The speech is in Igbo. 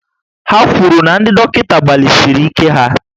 Ha kwuru na ndị dọkịta gbalịsiri ike ha